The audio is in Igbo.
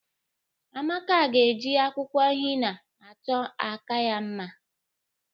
Amaka ga-eji akwụkwọ hina achọ aka ya mma.